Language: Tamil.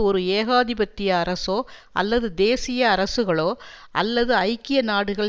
ஒரு ஏகாதிபத்திய அரசோ அல்லது தேசிய அரசுகளோ அல்லது ஐக்கிய நாடுகள்